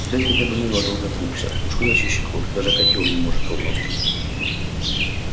взять хотя бы невилла долгопупса уж куда чище кровь а даже котёл не может ровно установить